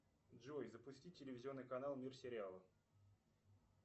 джой запусти телевизионный канал мир сериала